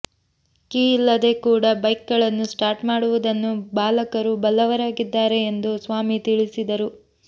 key ಇಲ್ಲದೇ ಕೂಡ bike ಗಳನ್ನು ಸ್ಟಾರ್ಟ್ ಮಾಡುವುದನ್ನು ಬಾಲಕರು ಬಲ್ಲವರಾಗಿದ್ದಾರೆ ಎಂದು ಸ್ವಾಮಿ ತಿಳಿಸಿದರು